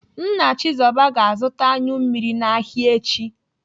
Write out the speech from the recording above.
Nna Chizoba ga-azụta anyụ mmiri n'ahịa echi.